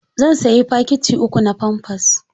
Zan sayi fakiti uku na famfers.